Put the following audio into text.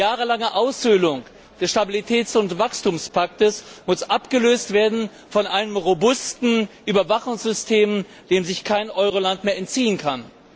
Die jahrelange Aushöhlung des Stabilitäts und Wachstumspakts muss abgelöst werden von einem robusten Überwachungssystem, dem sich kein Euroland mehr entziehen kann.